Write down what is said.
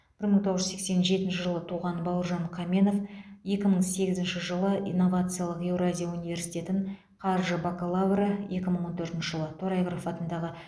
бір мың тоғыз жүз сексен жетінші жылы туған бауыржан қаменов екі мың сегізінші жылы инновациялық еуразия университетін қаржы бакалавры екі мың он төртінші жылы торайғыров атындағы